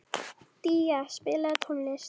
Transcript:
Día, spilaðu tónlist.